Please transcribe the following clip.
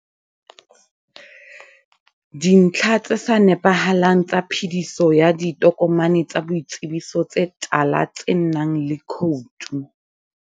Dintlha tse sa nepahalang tsa phediso ya ditokomane tsa boitsebiso tse tala tsenang le khoutu.